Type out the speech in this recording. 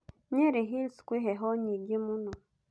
Nyeri Hills kwĩ heho nyingĩ mũno.